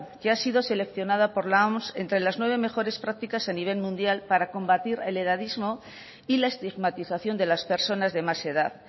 que ha sido seleccionada por la oms entre las nueve mejores prácticas a nivel mundial para combatir el edadismo y la estigmatización de las personas de más edad